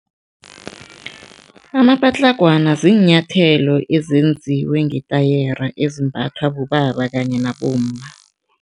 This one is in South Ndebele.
Amapatlagwana ziinyathelo ezenziwe ngetayere ezimbathwa bobaba kanye nabomma.